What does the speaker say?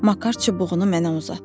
Makar çubuğunu mənə uzatdı.